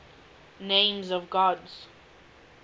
names of god